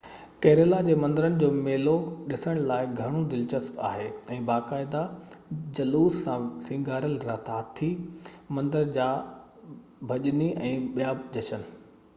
Kurilla جي مندرن جي ميلو ڏسڻ لاءِ گهڻو دلچسپ آهي باقاعدي جلوس سان سينگاريل هاٿي مندر جا ڀڄني ۽ ٻيا جشن